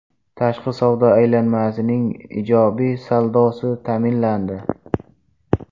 Tashqi savdo aylanmasining ijobiy saldosi ta’minlandi.